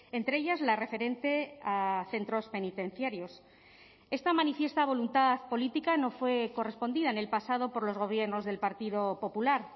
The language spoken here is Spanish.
entre ellas la referente a centros penitenciarios esta manifiesta voluntad política no fue correspondida en el pasado por los gobiernos del partido popular